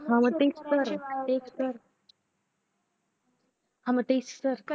हा मग तेच तर तेच तर हा मग तेच तर